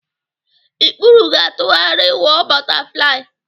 Ikpuru ga-atụgharị wụ ọ bọtaflai.